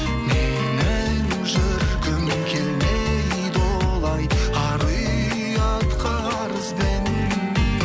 менің жүргім келмейді олай ар ұятқа арызбен